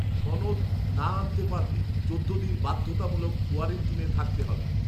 সনদ না আনতে পারলে চোদ্দ দিন বাধ্যতামূলক কোয়ারেন্টিনে থাকতে হবে